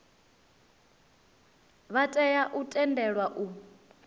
vha tea u tendelwa u